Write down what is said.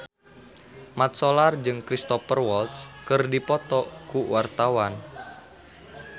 Mat Solar jeung Cristhoper Waltz keur dipoto ku wartawan